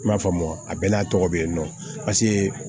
I m'a faamu a bɛɛ n'a tɔgɔ be yen nɔ paseke